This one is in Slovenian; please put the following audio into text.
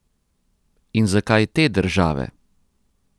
In zakaj te države?